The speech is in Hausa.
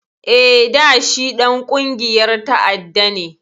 Eh, da shi Ɗan ƙungiyar ta'adda ne